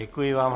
Děkuji vám.